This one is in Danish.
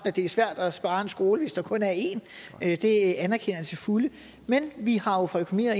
at det er svært at spare en skole hvis der kun er én det anerkender jeg til fulde men vi har jo fra økonomi og